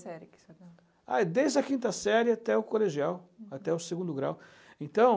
que série que o senhor dava? Desde a quinta série até o colegial, até o segundo grau. Então.